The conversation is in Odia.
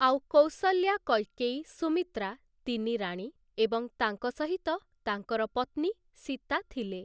ଆଉ କୌଶଲ୍ୟା, କୈକେୟୀ, ସୁମିତ୍ରା ତିନି ରାଣୀ ଏବଂ ତାଙ୍କ ସହିତ ତାଙ୍କର ପତ୍ନୀ ସୀତା ଥିଲେ ।